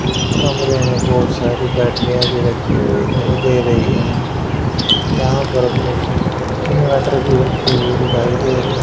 कमरे में बोहोत सारी बैटरियां भी रखी हुई दिखाई दे री है यहां पर बहुत सारे इनवर्टर भी रखे हुए दिखाई दे रहे--